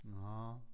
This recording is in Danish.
Nåh